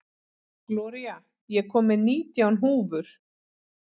Gloría, ég kom með nítján húfur!